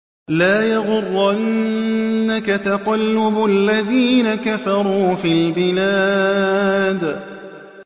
لَا يَغُرَّنَّكَ تَقَلُّبُ الَّذِينَ كَفَرُوا فِي الْبِلَادِ